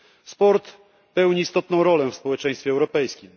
Sport pełni istotną rolę w społeczeństwie europejskim.